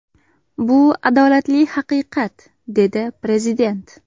Bu adolatli haqiqat”, dedi Prezident.